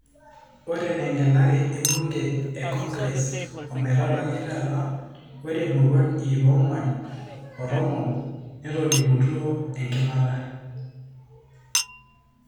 Ore tengelare ebunge e Congress, ometabaiki tata ore muruan iip onguan otomon netolimutuo enkimata.